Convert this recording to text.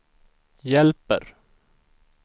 hjälper